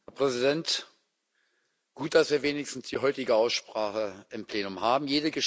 Herr Präsident! Gut, dass wir wenigstens die heutige Aussprache im Plenum haben.